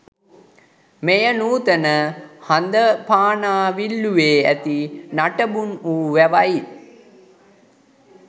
මෙය නූතන හඳපානාවිල්ලුවේ ඇති නටබුන් වූ වැවයි.